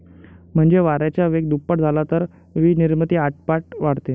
म्हणजे वाऱ्याचा वेग दुप्पट झाला तर वीजनिर्मिती आठपट वाढते.